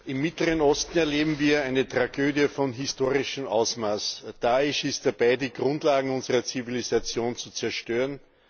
Im Mittleren Osten erleben wir eine Tragödie von historischem Ausmaß. Daesh ist dabei, die Grundlagen unserer Zivilisation zu zerstören.